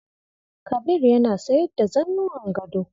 Kabir yana sayar da zannuwan gado.